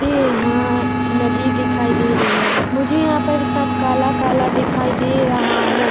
ये हाँ नदी दिखाई दे रही है मुझे यहाँ पर सब काला काला दिखाई दे रहा है।